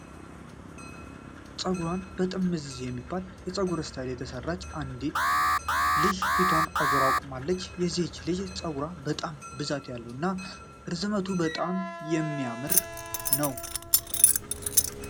ጸጉሯን ጥምዝ የሚባል የጸጉር ስታይል የተሰራች አንዲት ልጅ ፊቷን አዙራ ቆማለች። የዚች ልጅ ጸጉር በጣም ብዛት ያለው እና ርዝመቱ በጣም የሚያምር ነው።